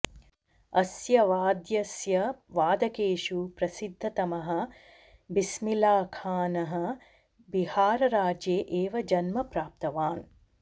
अस्य वाद्यस्य वादकेषु प्रसिद्धतमः बिस्मिल्लाखानः बिहारराज्ये एव जन्म प्राप्तवान्